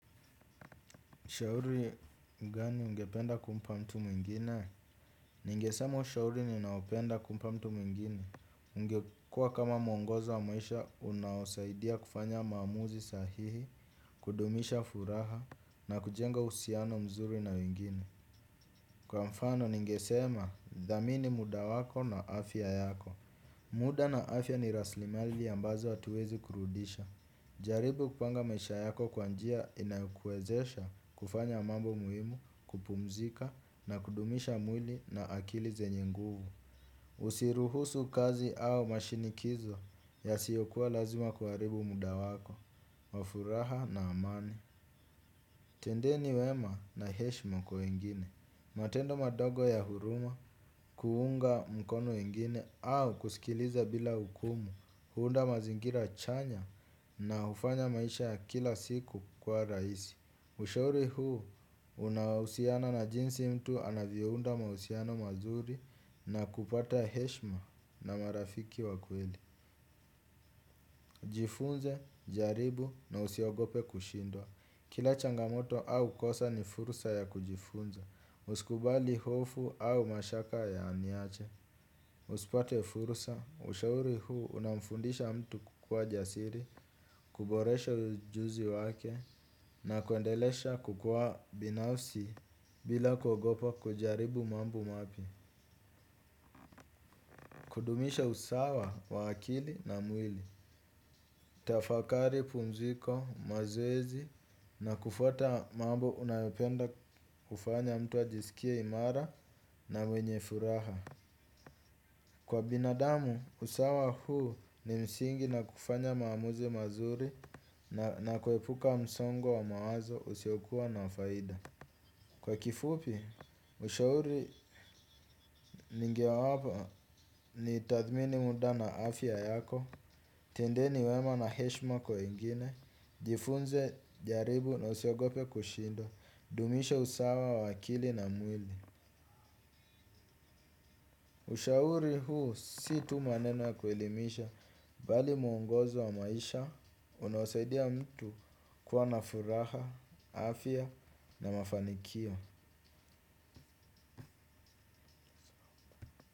Shauri gani ungependa kumpa mtu mwingine? Ningesema ushauri ninaopenda kumpa mtu mwingine. Ungekua kama mwongozo wa maisha unaosaidia kufanya maamuzi sahihi, kudumisha furaha na kujenga uhusiano mzuri na wengine. Kwa mfano ningesema, dhamini muda wako na afya yako. Muda na afya ni raslimali ambazo hatuwezi kurudisha. Jaribu kupanga maisha yako kwa njia inayokuezesha kufanya mambo muhimu kupumzika na kudumisha mwili na akili zenye nguvu. Usiruhusu kazi au mashinikizo yasiyokuwa lazima kuaribu muda wako, wa furaha na amani. Tendeni wema na heshma kwa wengine. Matendo madogo ya huruma kuunga mkono wengine au kusikiliza bila hukumu huunda mazingira chanya na hufanya maisha ya kila siku kuwa raisi. Ushauri huu unawausiana na jinsi mtu anavyounda mausiano mazuri na kupata heshma na marafiki wa kweli. Jifunze, jaribu na usiogope kushindwa. Kila changamoto au kosa ni furusa ya kujifunza. Uskubali hofu au mashaka yaniache. Uspate furusa, ushauri huu unamfundisha mtu kukua jasiri, kuboresha ujuzi wake na kuendelesha kukuwa binafsi bila kuogopa kujaribu mambo mapya. Kudumisha usawa wa akili na mwili. Tafakari pumziko mazoezi na kufuata mambo unayopenda kufanya mtu ajisikia imara na mwenye furaha. Kwa binadamu, usawa huu ni msingi na kufanya maamuzi mazuri na kuepuka msongo wa mawazo usiokua na faida. Kwa kifupi, ushauri ningewapa ni tathmini muda na afya yako, tendeni wema na heshma kwa wengine, jifunze jaribu na usiogope kushindwa, dumisha usawa wa akili na mwili. Ushauri huu si tu maneno ya kuelimisha bali muongozo wa maisha unawasaidia mtu kuwa na furaha, afya na mafanikio.